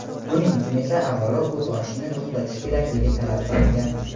Buning uchun esa avvalo o‘t ochishni to‘xtatish kerakligi talab qilingan.